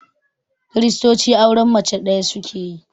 Kiristoci auren mace ɗaya suke yi